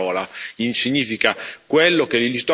Questo MSY non è una definizione, non è una parola.